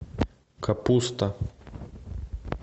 капуста